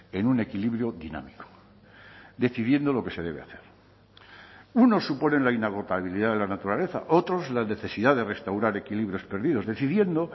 en un equilibrio dinámico decidiendo lo que se debe hacer unos suponen la inagotabilidad de la naturaleza otros la necesidad de restaurar equilibrios perdidos decidiendo